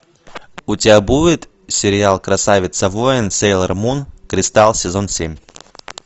у тебя будет сериал красавица воин сейлор мун кристалл сезон семь